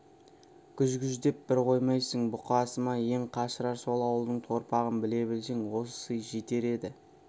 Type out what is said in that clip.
гүж-гүждеп бір қоймайсың бұқасы ма ең қашырар сол ауылдың торпағын біле білсең осы сый жетер еді